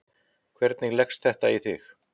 Heimir: Hvernig leggst þetta í þig?